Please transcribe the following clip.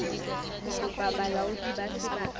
ho kopa bolaodi ba sebaka